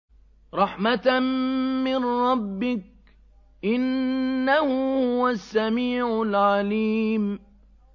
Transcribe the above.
رَحْمَةً مِّن رَّبِّكَ ۚ إِنَّهُ هُوَ السَّمِيعُ الْعَلِيمُ